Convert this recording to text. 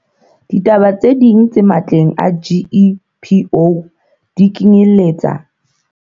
Ditaba tse ding tse matleng a GEPO di kenyeletsa.